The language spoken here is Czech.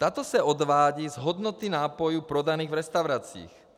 Tato se odvádí z hodnoty nápojů prodaných v restauracích.